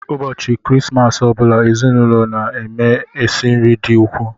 Ụbọchị Krismas ọ bụla, ezinụlọ m na-esi nri dị ukwuu.